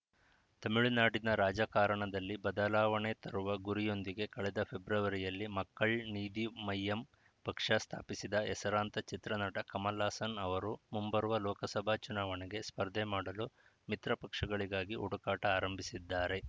ತಮಿಳುನಾಡಿನ ರಾಜಕಾರಣದಲ್ಲಿ ಬದಲಾವಣೆ ತರುವ ಗುರಿಯೊಂದಿಗೆ ಕಳೆದ ಫೆಬ್ರವರಿಯಲ್ಲಿ ಮಕ್ಕಳ್‌ ನೀಧಿ ಮಯ್ಯಂ ಪಕ್ಷ ಸ್ಥಾಪಿಸಿದ್ದ ಹೆಸರಾಂತ ಚಿತ್ರನಟ ಕಮಲ್‌ಹಾಸನ್‌ ಅವರು ಮುಂಬರುವ ಲೋಕಸಭಾ ಚುನಾವಣೆಗೆ ಸ್ಪರ್ಧೆ ಮಾಡಲು ಮಿತ್ರಪಕ್ಷಗಳಿಗಾಗಿ ಹುಡುಕಾಟ ಆರಂಭಿಸಿದ್ದಾರೆ